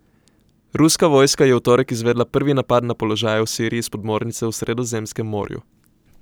Ruska vojska je v torek izvedla prvi napad na položaje v Siriji s podmornice v Sredozemskem morju.